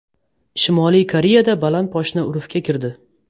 Shimoliy Koreyada baland poshna urfga kirdi.